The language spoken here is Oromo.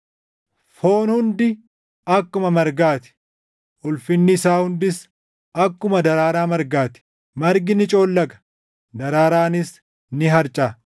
“Foon hundi akkuma margaa ti; ulfinni isaa hundis akkuma daraaraa margaa ti; margi ni coollaga; daraaraanis ni harcaʼa;